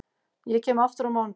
Ég kem aftur á mánudag.